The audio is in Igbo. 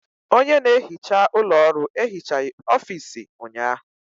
Onye na-ehicha ụlọ ọrụ ehichaghị ọfiisi ụnyaahụ